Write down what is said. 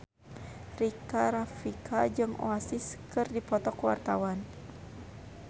Rika Rafika jeung Oasis keur dipoto ku wartawan